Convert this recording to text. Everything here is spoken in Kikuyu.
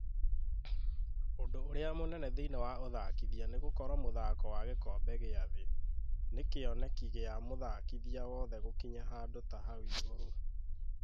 "Ũndũ ũrĩa mũnene thĩinĩ wa ũthakithia nĩ gũkorwo mũthako wa gĩkobe gia thĩ , nĩ kĩoneki gia mũthakithia wothe gũkinya handũ ta hau igũrũ.